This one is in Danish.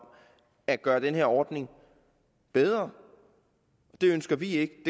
at gøre den her ordning bedre og det ønsker vi ikke